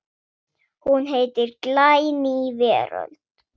Hún heitir Glæný veröld.